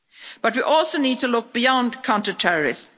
But we also need to look beyond counter terrorism.